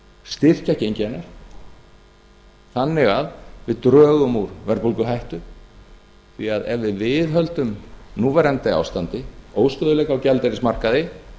krónuna frysta gengi hennar þannig að við drögum úr verðbólguhættu því ef við viðhöldum núverandi ástandi óstöðugleika á gjaldeyrismarkaði